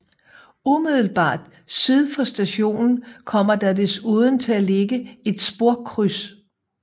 Umiddelbart syd for stationen kommer der desuden til at ligge et sporkryds